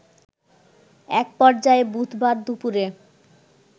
এক পর্যায়ে বুধবার দুপুরে